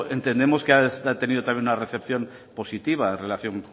entendemos que ha tenido también una recepción positiva en relación